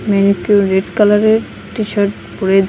এখানে কেউ রেড কালারের টিশার্ট পরে দাঁড়িয়ে ।